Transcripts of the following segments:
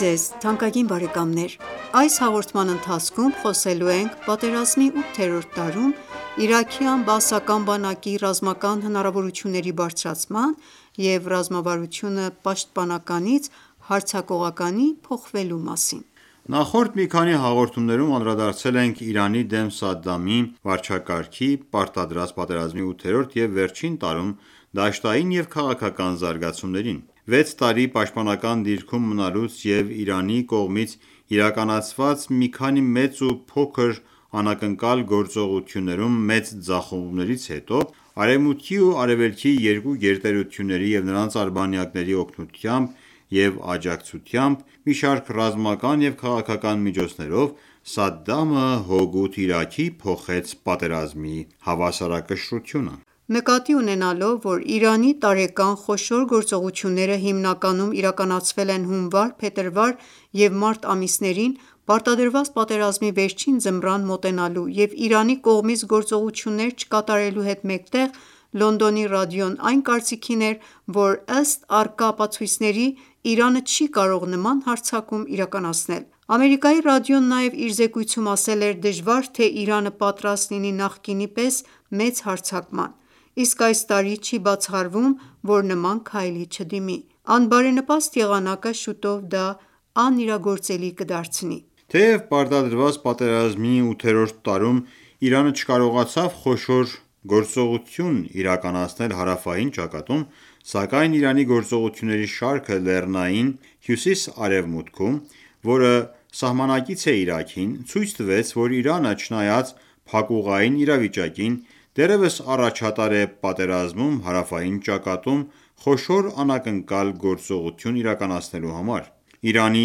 ձեզ թանկագին բարեկամներ: Այս հաղորդման ընթացքում խոսելու ենք պատերազմի ութերորդ տարում իրաքյան բաասական բանակի ռազմական հնարավորությունների բարձրացման և ռազմավարությունը պաշտպանականից հարձակողականի փոխվելու մասին։ Նախորդ մի քանի հաղորդումներում անդրադարձել ենք ԻԻՀ-ի դեմ Սադամի վարչակարգի պարտադրած պատերազմի ութերորդ և վերջին տարում դաշտային և քաղաքական զարգացումներին։ Վեց տարի պաշտպանական դիրքում մնալուց և Իրանի կողմից իրականացված մի քանի մեծ ու փոքր անակնկալ գործողություններում մեծ ձախողումներից հետո, Արևմուտքի և Արևելքի երկու գերտերությունների և նրանց արբանյակների օգնությամբ և աջակցությամբ, մի շարք ռազմական և քաղաքական միջոցներով, Սադամը հօգուտ Իրաքի փոխեց պատերազմի հավասարակշռությունը: Նկատի ունենալով, որ Իրանի տարեկան խոշոր գործողությունները հիմնականում իրականացվել են հունվար, փետրվար և մարտ ամիսներին, Պարտադրված պատերազմի վերջին ձմռան մոտենալու և Իրանի կողմից գործողություններ չկատարելու հետ մեկտեղ՝ Լոնդոնի ռադիոն այն կարծիքին էր, որ ըստ առկա ապացույցների՝ «Իրանը չի կարող նման հարձակում իրականացնել»: Ամերիկայի ռադիոն նաև իր զեկույցում ասել էր.«Դժվար թե Իրանը պատրաստ լինի նախկինի պես մեծ հարձակման, իսկ այս տարի չի բացառվում, որ նման քայլի չդիմի... անբարենպաստ եղանակը շուտով դա անիրագործելի կդարձնի»։ Թեև պարտադրված պատերազմի ութերորդ տարում Իրանը չկարողացավ խոշոր գործողություն իրականացնել հարավային ճակատում, սակայն Իրանի գործողությունների շարքը լեռնային հյուսիս-արևմուտքում, որը սահմանակից է Իրաքին, ցույց տվեց, որ Իրանը, չնայած փակուղային իրավիճակին, դեռևս առաջատար է պատերազմում հարավային ճակատում՝ խոշոր անակնկալ գործողություն իրականացնելու համար: Իրանի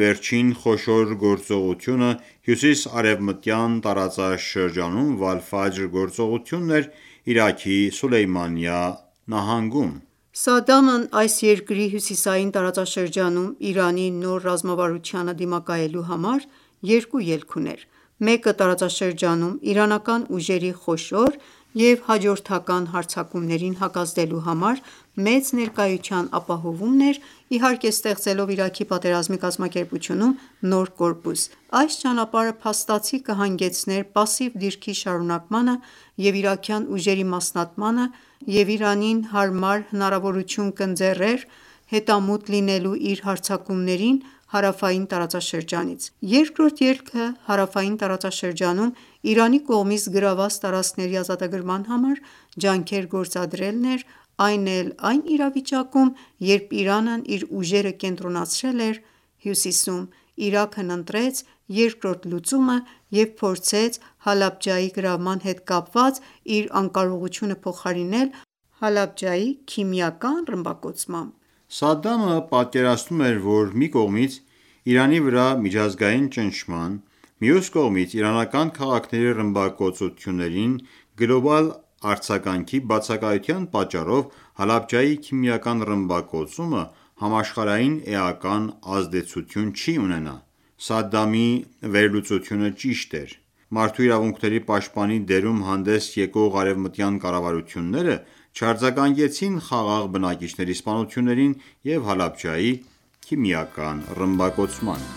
վերջին խոշոր գործողությունը հյուսիսարևմտյան տարածաշրջանում Վալֆաջր գործողությունն էր Իրաքի Սուլեյմանիա նահանգում: Սադամն այս երկրի հյուսիսային տարածաշրջանում Իրանի նոր ռազմավարությանը դիմակայելու համար երկու ելք ուներ. մեկը տարածաշրջանում իրանական ուժերի խոշոր և հաջորդական հարձակումներին հակազդելու համար մեծ ներկայության ապահովումն էր՝ իհարկե ստեղծելով Իրաքի պատերազմի կազմակերպությունում նոր կորպուս: Այս ճանապարհը փաստացի կհանգեցներ պասիվ դիրքի շարունակմանը և իրաքյան ուժերի մասնատմանը և Իրանին հարմար հնարավորություն կընձեռներ հետամուտ լինելու իր հարձակումներին հարավային տարածաշրջանից։ Երկրորդ ելքը հարավային տարածաշրջանում Իրանի կողմից գրավված տարածքների ազատագրման համար ջանքեր գործադրելն էր, այն էլ, այն ​​իրավիճակում, երբ Իրանն իր ուժերը կենտրոնացրել էր հյուսիսում։ Իրաքն ընտրեց երկրորդ լուծումը և փորձեց Հալաբջայի գրավման հետ կապված իր անկարողությունը փոխարինել Հալաբջայի քիմիական ռմբակոծմամբ: Սադդամը պատկերացնում էր, որ մի կողմից Իրանի վրա միջազգային ճնշման, մյուս կողմից իրանական քաղաքների ռմբակոծություններին գլոբալ արձագանքի բացակայության պատճառով Հալաբջայի քիմիական ռմբակոծումը համաշխարհային էական ազդեցություն չի ունենա։ Սադամի վերլուծությունը ճիշտ էր, մարդու իրավունքների պաշտպանի դերում հանդես եկող արևմտյան կառավարությունները չարձագանքեցին խաղաղ բնակիչների սպանություններին և Հալաբջայի քիմիական ռմբակոծմանը: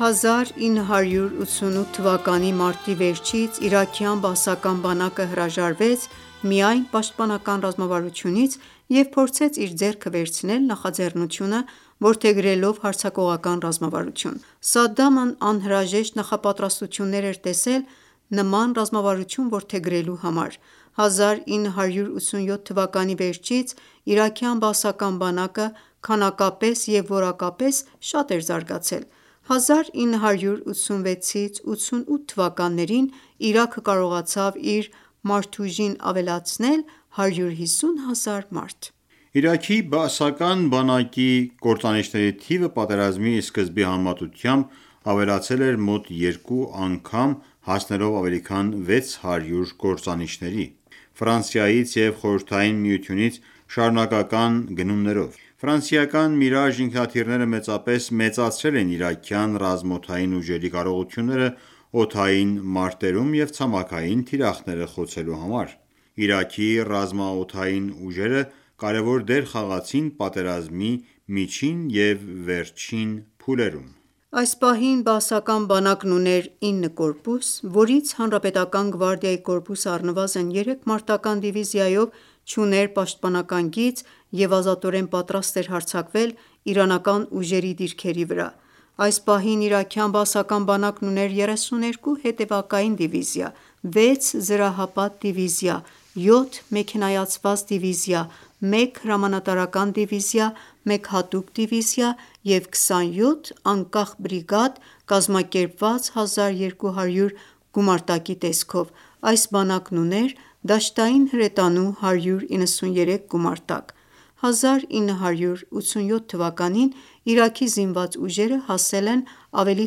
1988 թվականի մարտի վերջից իրաքյան բաասական բանակը հրաժարվեց «միայն պաշտպանական» ռազմավարությունից և փորձեց իր ձեռքը վերցնել նախաձեռնությունը՝ որդեգրելով հարձակողական ռազմավարություն։ Սադամն անհրաժեշտ նախապատրաստություններ էր տեսել նման ռազմավարություն որդեգրելու համար։ 1987 թվականի վերջից իրաքյան բաասական բանակը քանակապես և որակապես շատ էր զարգացել։ 1986-1988 թվականներին Իրաքը կարողացավ իր մարդուժին ավելացնել 150,000 մարդ: Իրաքի բաասական բանակի կործանիչների թիվը պատերազմի սկզբի համեմատությամբ ավելացել էր մոտ 2 անգամ հասնելով ավելի քան 600 կործանիչների՝ Ֆրանսիայից և Խորհրդային Միությունից շարունակական գնումներով։ Միրաժ ինքնաթիռները մեծապես մեծացրել էին իրաքյան ռազմաօդային ուժերի կարողությունները օդային մարտերում և ցամաքային թիրախները խոցելու համար։ Իրաքի ռազմաօդային ուժերը կարևոր դեր խաղացցին պատերազմի միջին և վերջին փուլերում։ Այս պահին բաասական բանակն ուներ 9 կորպուս, որից հանրապետական​​ գվարդիայի կորպուսը առնվազն 3 մարտական ​​դիվիզիայով չուներ պաշտպանական գիծ և ազատորեն պատրաստ էր հարձակվել իրանական ուժերի դիրքերի վրա։ Այս պահին իրաքյան Բաասական բանակն ուներ 32 հետևակային դիվիզիա, 6 զրահապատ դիվիզիա, 7 մեքենայացված դիվիզիա, 1 հրամանատարական դիվիզիա, 1 հատուկ դիվիզիա և 27 անկախ բրիգադ՝ կազմակերպված 1200 գումարտակի տեսքով, այս բանակն ուներ դաշտային հրետանու 193 գումարտակ։ 1987 թվականին Իրաքի զինված ուժերը հասել են ավելի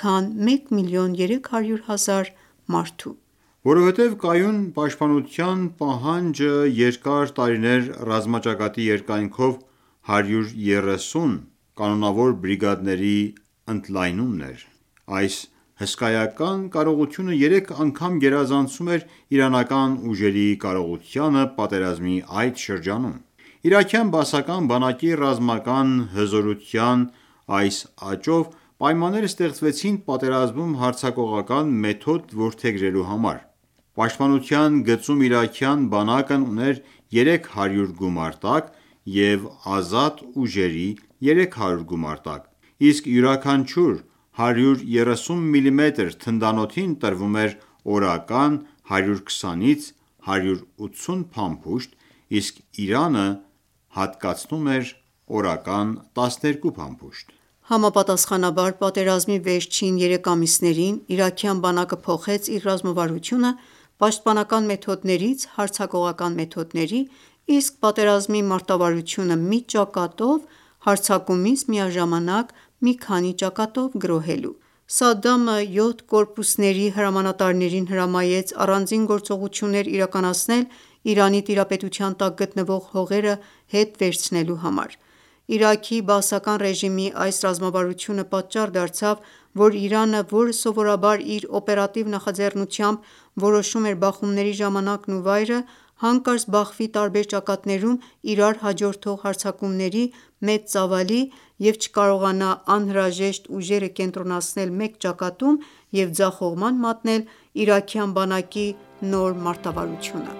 քան մեկ միլիոն երեք հարյուր հազար մարդու։ Որովհետև կայուն ​​պաշտպանության պահանջը երկար տարիներ ռազմաճակատի երկայնքով 130 կանոնավոր բրիգադների ընդլայնումն էր։ Այս հսկայական կարողությունը 3 անգամ գերազանցում էր իրանական ուժերի կարողությանը պատերազմի այդ շրջանում։ Իրաքյան բաասական բանակի ռազմական հզորության այս աճով պայմաններ ստեղծվեցին պատերազմում հարձակողական մեթոդ որդեգրելու համար։ Պաշտպանության գծում իրաքյան բանակն ուներ 300 գումարտակ և ազատ ուժերի 300 գումարտակ, իսկ յուրաքանչյուր 130 մմ թնդանոթին տրվում էր օրական 120-ից 180 փամփուշտ, իսկ Իրանը հատկացնում էր օրական 12 փամփուշտ։ Համապատասխանաբար, պատերազմի վերջին երեք ամիսներին իրաքյան բանակը փոխեց իր ռազմավարությունը պաշտպանական մեթոդներից հարձակողական մեթոդների, իսկ պատերազմի մարտավարությունը՝ մի ճակատով հարձակումից միաժամանակ մի քանի ճակատով գրոհելու: Սադամը յոթ կորպուսների հրամանատարներին հրամայեց առանձին գործողություններ իրականացնել՝ Իրանի տիրապետության տակ գտնվող հողերը հետ վերցնելու համար։ Իրաքի բաասական ռեժիմի այս ռազմավարությունը պատճառ դարձավ, որ Իրանը, որը սովորաբար իր օպերատիվ նախաձեռնությամբ որոշում էր բախումների ժամանակն ու վայրը, հանկարծ բախվի տարբեր ճակատներում իրար հաջորդող հարձակումների մեծ ծավալի և չկարողանա անհրաժեշտ ուժերը կենտրոնացնել մեկ ճակատում և ձախողման մատնել իրաքյան բանակի նոր մարտավարությունը: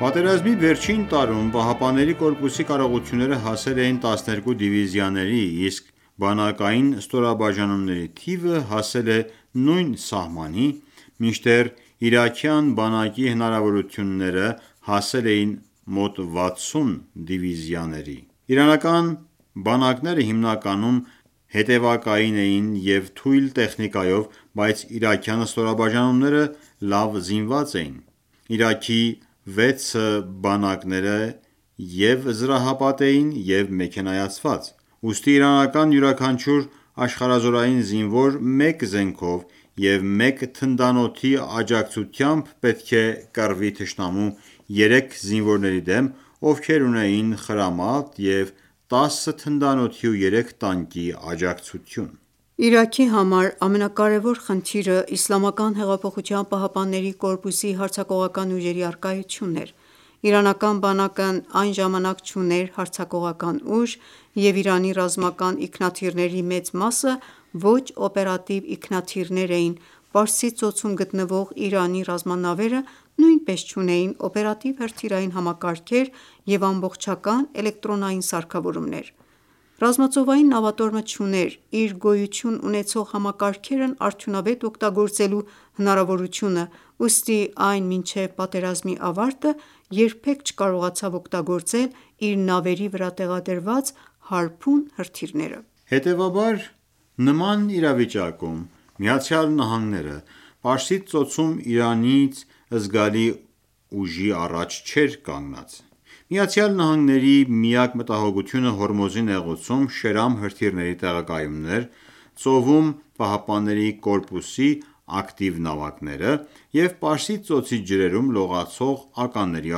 Պատերազմի վերջին տարում ԻՀՊԿ-ի կարողությունները հասել էին 12 դիվիզիաների, իսկ բանակային ստորաբաժանումների թիվը հասել է նույն սահմանի, մինչդեռ իրաքյան բանակի հնարավորությունները հասել էին մոտ 60 դիվիզիաների։ Իրանական բանակները հիմնականում հետևակային էին և թույլ տեխնիկայով, բայց իրաքյան ստորաբաժանումները լավ զինված էին: Իրաքի 6 բանակները և՛ զրահապատ էին, և՛ մեքենայացված։ Ուստի իրանական յուրաքանչյուր աշխարհազորային զինվոր մեկ զենքով և մեկ թնդանոթի աջակցությամբ պետք է կռվի թշնամու 3 զինվորների դեմ, ովքեր ունեին խրամատ և 10 թնդանոթի և 3 տանկի աջակցություն։ Իրաքի համար ամենակարեւոր խնդիրը ԻՀՊԿ-ի հարձակողական ուժերի առկայությունն էր: Իրանական բանակն այն ժամանակ չուներ հարձակողական ուժ, և Իրանի ռազմական ինքնաթիռների մեծ մասը ոչ օպերատիվ ինքնաթիռներ էին, Պարսից ծոցում գտնվող Իրանի ռազմանավերը նույնպես չունեին օպերատիվ հրթիռային համակարգեր և ամբողջական էլեկտրոնային սարքավորումներ: Ռազմածովային նավատորմը չուներ իր գոյություն ունեցող համակարգերն արդյունավետ օգտագործելու հնարավորությունը, ուստի այն մինչև պատերազմի ավարտը երբեք չկարողացավ օգտագործել իր նավերի վրա տեղադրված«Հարփուն» հրթիռները: Հետևաբար, նման իրավիճակում ԱՄՆ-ն ​​Պարսից ծոցում Իրանից զգալի ուժի առաջ չէր կանգնած։ ԱՄՆ-ի միակ մտահոգությունը Հորմուզի նեղուցում Շերամ հրթիռների տեղակայումն էր, ծովում ԻՀՊԿ-ի ակտիվ նավակները և Պարսից ծոցի ջրերում՝ լողացող ականների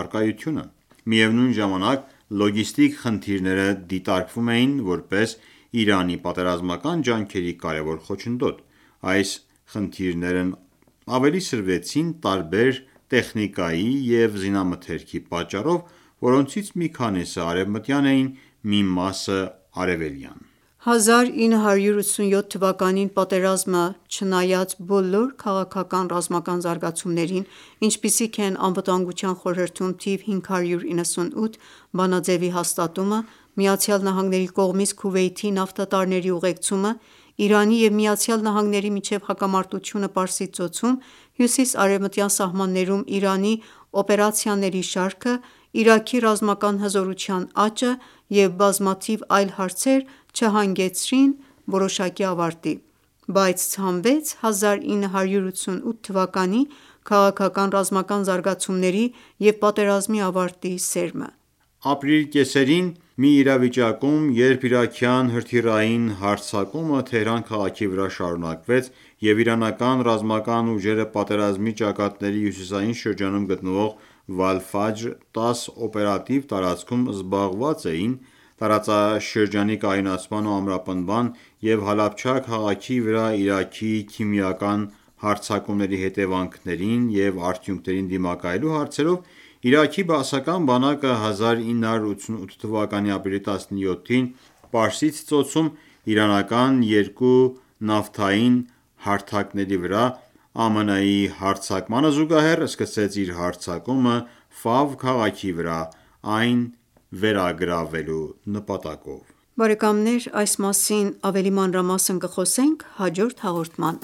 առկայությունը: Միևնույն ժամանակ, լոգիստիկ խնդիրները դիտարկվում էին որպես Իրանի պատերազմական ջանքերի կարևոր խոչընդոտ։ Այս խնդիրներն ավելի սրվեցին տարբեր տեխնիկայի ու զինամթերքի պատճառով, որոնցից մի քանիսն արևմտյան էին, մի մասը՝ արևելյան։ 1987-ին պատերազմը, չնայած բոլոր քաղաքական-ռազմական զարգացումներին, ինչպիսիք են Անվտանգության խորհրդում թիվ 598 բանաձեւի հաստատումը, ԱՄՆ-ի կողմից Քուվեյթի նավթատարների ուղեկցումը, Իրանի և ԱՄՆ-ի միջև հակամարտությունը Պարսից ծոցում, հյուսիսարևմտյան սահմաններում Իրանի օպերացիաների շարքը, Իրաքի ռազմական հզորության աճը և բազմաթիվ այլ հարցեր չհանգեցրին որոշակի ավարտի, բայց ցանվեց 1988 թվականի քաղաքական-ռազմական զարգացումների և պատերազմի ավարտի սերմը։ Ապրիլի կեսերին, մի իրավիճակում, երբ իրաքյան հրթիռային հարձակումը Թեհրան քաղաքի վրա շարունակվեց, և իրանական ռազմական ուժերը պատերազմի ճակատների հյուսիսային շրջանում գտնվող Վալֆաջր 10 օպերատիվ տարածքում, զբաղված էին, տարածաշրջանի կայունացման ու ամրապնդման և Հալաբջա քաղաքի վրա Իրաքի քիմիական հարձակումների հետևանքներին և արդյունքներին դիմակայելու հարցերով, Իրաքի բաասական բանակը 1988 թվականի ապրիլի 17-ին, Պարսից ծոցում իրանական երկու նավթային հարթակների վրա ԱՄՆ-ի հարձակմանը զուգահեռ, սկսեց իր հարձակումը Ֆավ քաղաքի վրա՝ այն վերագրավելու նպատակով։ Այս մասին ավելի մանրամասն կխոսենք հաջորդ հաղորդման